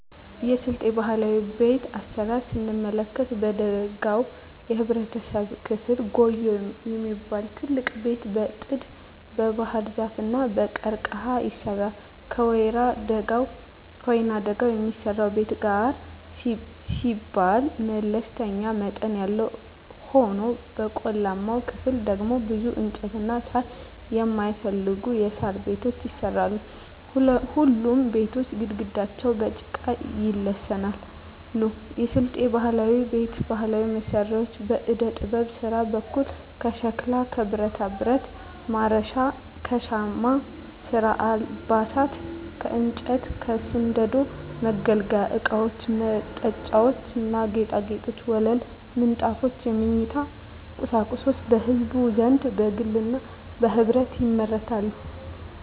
የስልጤ ባህላዊ ቤት አሰራር ስንመለከት በደጋው የህብረተሰብ ክፍል ጉዬ የሚባል ትልቅ ቤት በጥድ, በባህርዛፍ እና በቀርቀሀ ይሰራል። በወይናደጋው የሚሰራው ቤት ጋር ሲባል መለስተኛ መጠን ያለው ሆኖ በቆላማው ክፍል ደግሞ ብዙ እንጨትና ሳር የማይፈልጉ የሣር ቤቶች ይሰራሉ። ሁሉም ቤቶች ግድግዳቸው በጭቃ ይለሰናሉ። የስልጤ ባህላዊ ቤት ባህላዊ መሳሪያዎች በዕደጥበብ ስራ በኩል ከሸክላ ከብረታብረት (ማረሻ) ከሻማ ስራ አልባሳት ከእንጨት ከስንደዶ የመገልገያ እቃወች መጠጫዎች ና ጌጣጌጦች ወለል ምንጣፎች የመኝታ ቁሳቁሶች በህዝቡ ዘንድ በግልና በህብረት ይመረታሉ።